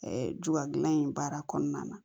juga dilan in baara kɔnɔna na